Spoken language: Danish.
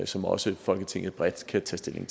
som også folketinget bredt kan tage stilling